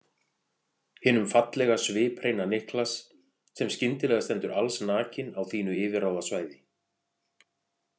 Hinum fallega sviphreina Niklas sem skyndilega stendur allsnakinn á þínu yfirráðasvæði.